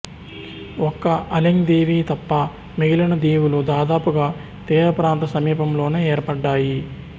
ఒక్క అలెంగ్ దీవి తప్ప మిగిలిన దీవులు దాదాపుగా తీర ప్రాంత సమీపంలోనే ఏర్పడ్డాయి